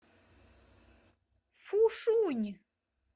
фушунь